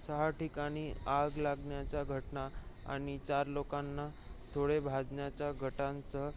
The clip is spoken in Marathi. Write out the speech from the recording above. सहा ठिकाणी आग लागण्याच्या घटना आणि चार लोकांना थोडे भाजण्याच्या घटनांसह